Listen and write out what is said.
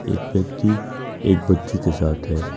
एक व्यक्ति एक बच्ची के साथ है।